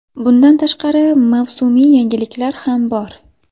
Bundan tashqari, mavsumiy yangiliklar ham bor.